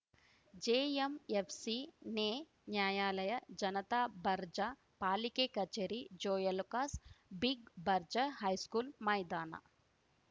JMFC ನೇ ನ್ಯಾಯಾಲಯ ಜನತಾ ಬರ್ಜಾ ಪಾಲಿಕೆ ಕಚೇರಿ ಜೋಯ್ಅಲುಕಾಸ್‌ ಬಿಗ್‌ ಬರ್ಜಾ ಹೈಸ್ಕೂಲ್‌ ಮೈದಾನ